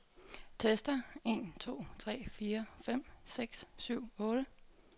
Tester en to tre fire fem seks syv otte.